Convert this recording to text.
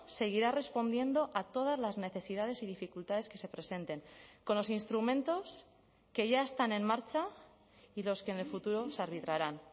seguirá respondiendo a todas las necesidades y dificultades que se presenten con los instrumentos que ya están en marcha y los que en el futuro se arbitrarán